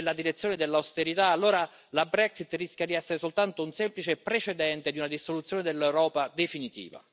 Se si continua in questa direzione, nella direzione dell'austerità, allora la Brexit rischia di essere soltanto un semplice precedente di una dissoluzione dell'Europa definitiva.